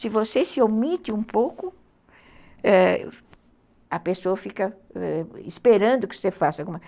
Se você se omite um pouco, a pessoa fica esperando que você faça alguma